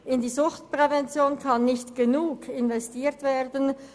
In die Suchtprävention kann unseres Erachtens nicht genug investiert werden.